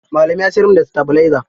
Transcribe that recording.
Malami ya sayar min da sitabilaiza.